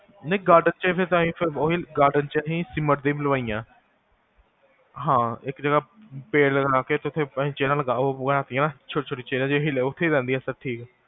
ਨਹੀ garden ਚ ਤਾ ਅਸੀ cement ਦੀ ਬਣਵਾਈਆਂ ਹਾਂ, ਇਕ ਜਗਹ ਪੇਡ ਲਗਾ ਕੇ ਤੁਸੀਂ ਚੇਰਾਂ ਲਗਾਓ ਓਹ ਹੁੰਦੀਆਂ ਨਾ ਛੋਟੀ ਛੋਟੀ chairs ਓਹੀ ਲਓ, ਓਥੇ ਰੇਹ੍ਨਦਿਆ ਸਬ ਠੀਕ ਆ